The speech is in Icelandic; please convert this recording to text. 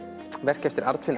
verk eftir